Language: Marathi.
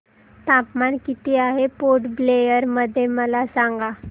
तापमान किती आहे पोर्ट ब्लेअर मध्ये मला सांगा